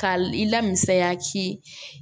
Ka i lamisiya ci